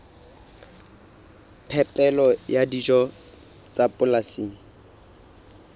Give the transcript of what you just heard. phepelo ya dijo tsa polasing